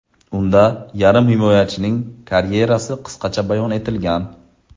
Unda yarim himoyachining karyerasi qisqacha bayon etilgan.